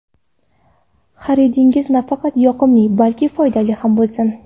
Xaridingiz nafaqat yoqimli, balki foydali ham bo‘lsin!